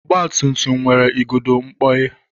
Ọgbatumtum nwere igodo mkpọghe